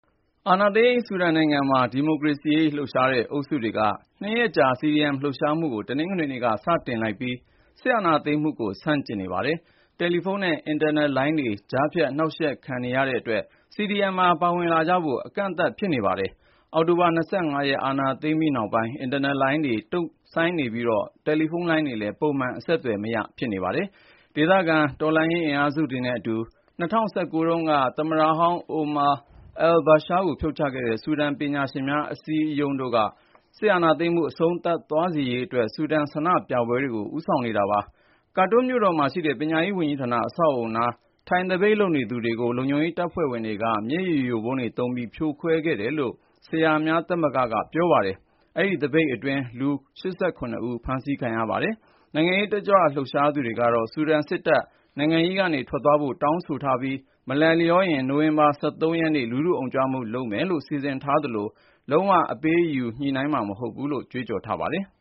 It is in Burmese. အာဏာသိမ်း ဆူဒန်နိုင်ငံမှာ ဒီမိုကရေစီရေး လှုပ်ရှားတဲ့ အုပ်စုတွေက ၂ ရက်ကြာ CDM (အကြမ်းမဖက် အာဏာဖီဆန်ရေး) လှုပ်ရှားမှုကို တနင်္ဂနွေနေ့က စတင်လိုက်ပြီး စစ်အာဏာသိမ်းမှုကို ဆန့်ကျင်နေပါတယ်။ တယ်လီဖုန်းနဲ့ အင်တာနက်လိုင်းတွေ ကြားဖြတ် နှောင့်ယှက်ခံနေရတဲ့အတွက် CDM မှာ ပါဝင်လာကြဖို့ အကန့်အသတ် ဖြစ်နေပါတယ်။ အောက်တိုဘာ ၂၅ ရက် အာဏာသိမ်းပြီးနောက်ပိုင်း အင်တာနက်လိုင်းတွေ တုံ့ဆိုင်းနေပြီး တယ်လီဖုန်းလိုင်းတွေလည်း ပုံမှန်အတိုင်း ဆက်သွယ်လို့မရ ဖြစ်နေပါတယ်။ ဒေသခံ တော်လှန်ရေးအင်အားစုတွေနဲ့အတူ ၂၀၁၉ တုန်းက သမ္မတဟောင်း Omar al-Bashir ကို ဖြုတ်ချခဲ့တဲ့ ဆူဒန်ပညာရှင်များအစည်းအရုံး (SPA) တို့က စစ်အာဏာသိမ်းမှု အဆုံးသတ်သွားစေရေးအတွက် ဆူဒန်ဆန္ဒပြပွဲတွေကို ဦးဆောင်နေတာပါ။ Khartoum မြို့တော်မှာရှိတဲ့ ပညာရေးဝန်ကြီးဌာန အဆောက်အဦနား ထိုင်သပိတ်လုပ်နေသူတွေကို လုံခြုံရေးတပ်ဖွဲ့ဝင်တွေက မျက်ရည်ယိုဗုံးသုံးပြီး ဖြိုခွဲခဲ့တယ်လို့ ဆရာများသမဂ္ဂက ပြောပါတယ်။ အဲဒီသပိတ်က လူ ၈၇ ဦး ဖမ်းဆီးခံခဲ့ရပါတယ်။ နိုင်ငံရေးလှုပ်ရှားသူတွေကတော့ ဆူဒန်စစ်တပ် နိုင်ငံရေးကနေ ထွက်သွားဖို့ တောင်းဆိုထားပြီး မလိုက်လျောရင် နိုဝင်ဘာ ၁၃ ရက်နေ့ လူထုအုံကြွမှု လုပ်မယ်လို့ စီစဉ်ထားသလို လုံးဝ အပေးအယူလုပ် ညှိနှိုင်းမှာ မဟုတ်ဘူးလို့လည်း ကြွေးကြော်ထားပါတယ်။